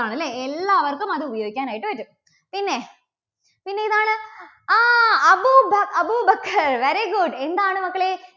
ണ് അല്ലേ? എല്ലാവർക്കും അത് ഉപയോഗിക്കാനായിട്ട് പറ്റും. പിന്നെ, പിന്നെ ഏതാണ്? ആ അബൂബ~അബൂബക്കർ very good എന്താണ് മക്കളേ